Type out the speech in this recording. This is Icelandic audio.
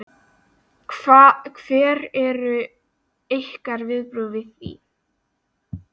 Hver eru ykkar viðbrögð við því?